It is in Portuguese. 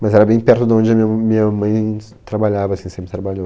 Mas era bem perto de onde a minha m, minha mãe trabalhava, assim sempre trabalhou.